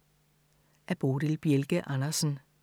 Af Bodil Bjelke Andersen